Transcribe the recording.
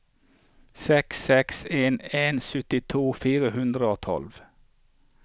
seks seks en en syttito fire hundre og tolv